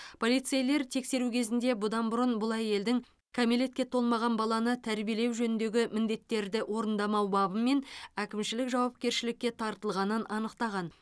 полицейлер тексеру кезінде бұдан бұрын бұл әйелдің кәмелетке толмаған баланы тәрбиелеу жөніндегі міндеттерді орындамау бабымен әкімшілік жауапкершілікке тартылғанын анықтаған